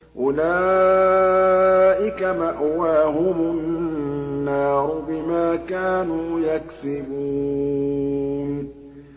أُولَٰئِكَ مَأْوَاهُمُ النَّارُ بِمَا كَانُوا يَكْسِبُونَ